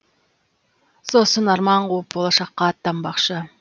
сосын арман қуып болашаққа аттанбақшы